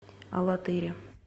алатыре